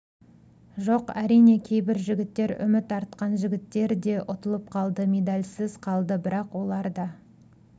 жоқ әрине кейбір жігіттер үміт артқан жігіттер де ұтылып қалды медальсыз қалды бірақ олар да